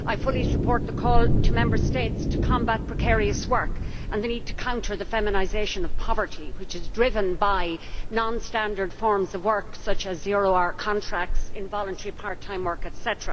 I fully support the call to Member States to combat precarious work and the need to counter the feminisation of poverty, which is driven by non standard forms of work such as zero hour contracts in voluntary part time work, etc.